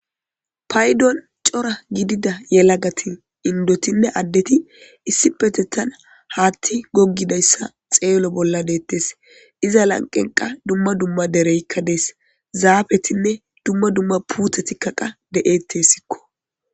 Paydon c'ora gidida yelagati indotinne adeti issipetetan hati gigidaysa xelo bola detes iza lanqen qa duma duma dereyka des zafetinne duma duma putetika qa de'eteskko.